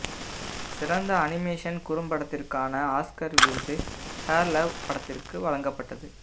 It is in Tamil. சிறந்த அனிமேஷன் குறும்படத்திற்கான ஆஸ்கர் விருது ஹேர் லவ் படத்திற்கு வழங்கப்பட்டது